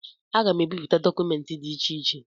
Aga m ebipụta dọkụmentị dị iche iche